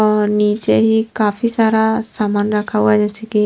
और नीचे ही काफी सारा सामान रखा हुआ जैसे की--